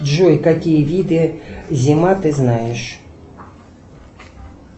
джой какие виды зима ты знаешь